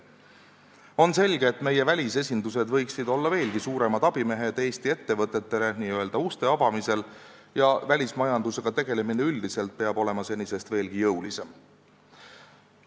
On selge, et meie välisesindused võiksid olla veelgi suuremad abimehed Eesti ettevõtetele n-ö uste avamisel ja välismajandusega tegelemine üldiselt peab olema senisest veelgi jõulisem.